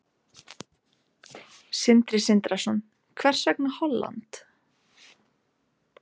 Sindri Sindrason: Hvers vegna Holland?